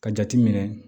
Ka jate minɛ